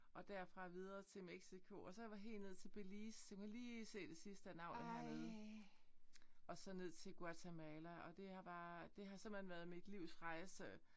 Og derfra videre til Mexico og så var jeg helt nede til Belize du kan lige se navnet hernede. Og så ned til Guatemala og det var bare det har simpelthen været mit livs rejse